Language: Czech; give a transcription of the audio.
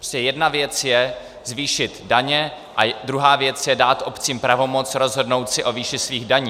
Prostě jedna věc je zvýšit daně a druhá věc je dát obcím pravomoc rozhodnout si o výši svých daní.